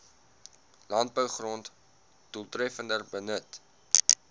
landbougrond doeltreffender benut